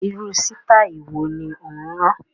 Irú sitai wo ni ó ń rán?